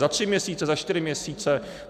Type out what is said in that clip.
Za tři měsíce, za čtyři měsíce?